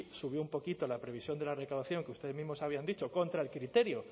subió un poquito la previsión de la recaudación que ustedes mismos habían dicho contra el criterio